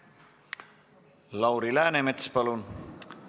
Lauri Läänemets, palun!